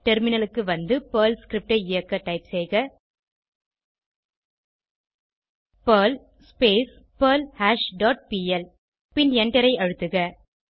டெர்மினலுக்கு வந்து Perl script ஐ இயக்க டைப் செய்க பெர்ல் பெர்ல்ஹாஷ் டாட் பிஎல் பின் எண்டரை அழுத்தக